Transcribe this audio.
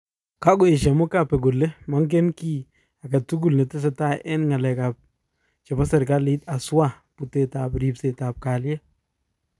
Kakoesha mugabe kole mengen ki aketugul netesetai eng ngalek chepo serikalit haswaa putet ap ripset ap kaliet